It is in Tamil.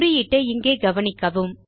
குறியீட்டை இங்கே கவனிக்கவும்